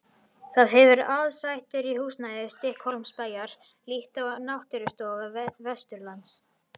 Það hefur aðsetur í húsnæði Stykkishólmsbæjar, líkt og Náttúrustofa Vesturlands.